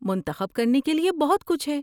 منتخب کرنے کے لیے بہت کچھ ہے۔